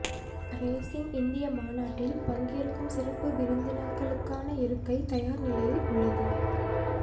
rising India மாநாட்டில் பங்கேற்கும் சிறப்பு விருந்தினர்களுக்கான இருக்கை தயார் நிலையில் உள்ளது